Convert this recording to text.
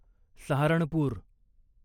Saharanpur